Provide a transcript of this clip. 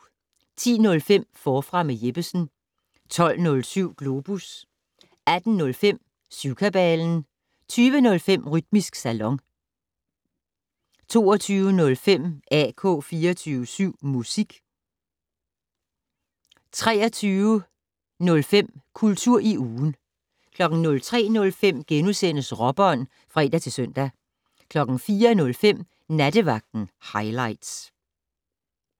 10:05: Forfra med Jeppesen 12:07: Globus 18:05: Syvkabalen 20:05: Rytmisk Salon 22:05: AK 24syv Musik 23:05: Kultur i ugen 03:05: Råbånd *(fre-søn) 04:05: Nattevagten Highligts